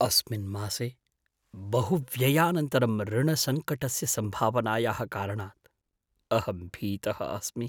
अस्मिन् मासे बहुव्ययानन्तरम् ऋणसङ्कटस्य सम्भावनायाः कारणात् अहं भीतः अस्मि।